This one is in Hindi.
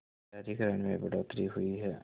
शहरीकरण में बढ़ोतरी हुई है